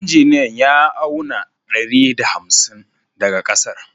Injiniya ya auna ɗari da hamsin daga ƙasar